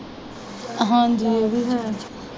ਹਾਂਜੀ ਇਹ ਵੀ ਹੈ।